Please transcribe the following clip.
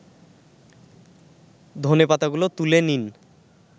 ধনেপাতাগুলো তুলে নিন